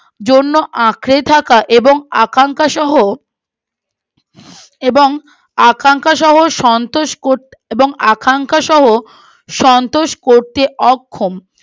জন্য আঁকড়ে থাকা এবং আকাঙ্খা সহ এবং আকাঙ্খা সহ সন্তোষ আকাঙ্খা সহ সন্তোষ করতে অক্ষম